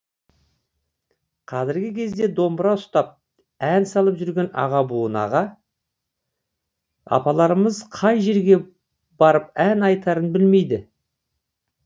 қазіргі кезде домбыра ұстап ән салып жүрген аға буын аға апаларымыз қай жерге барып ән айтарын білмейді